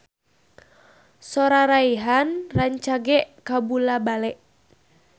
Sora Rayhan rancage kabula-bale